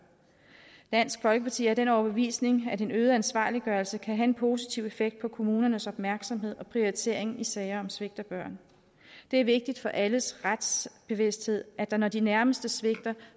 dansk folkeparti er af den overbevisning at en øget ansvarliggørelse kan have en positiv effekt på kommunernes opmærksomhed og prioritering i sager om svigt af børn det er vigtigt for alles retsbevidsthed at der når de nærmeste svigter